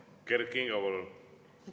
Kert Kingo, palun!